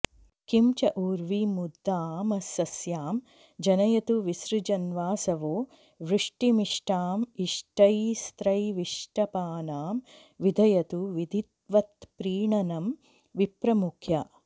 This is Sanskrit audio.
किं च उर्वीमुद्दामसस्यां जनयतु विसृजन्वासवो वृष्टिमिष्टां इष्टैस्त्रैविष्टपानां विदधतु विधिवत्प्रीणनं विप्रमुख्याः